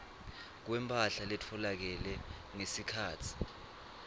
kwemphahla letfolakele ngesikhatsi